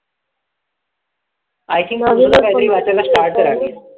I think तू पण काहीतरी वाचायला start करावं.